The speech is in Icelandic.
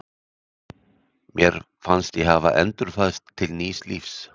Mér fannst ég hafa endurfæðst til nýs lífs.